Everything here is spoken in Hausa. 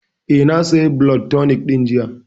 Eh, na saya blood tonic ɗin jiya